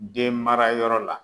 Denmarayɔrɔ la